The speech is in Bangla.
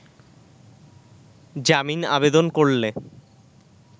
জামিন আবেদন করলে